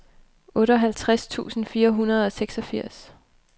otteoghalvtreds tusind fire hundrede og seksogfirs